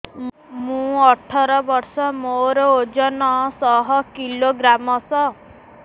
ମୁଁ ଅଠର ବର୍ଷ ମୋର ଓଜନ ଶହ କିଲୋଗ୍ରାମସ